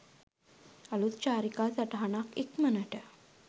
අළුත් චාරිකා සටහනක් ඉක්මනට